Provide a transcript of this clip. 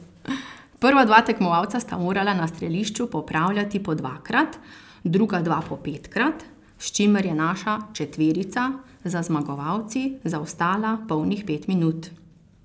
Prva dva tekmovalca sta morala na strelišču popravljati po dvakrat, druga dva po petkrat, s čimer je naša četverica za zmagovalci zaostala polnih pet minut.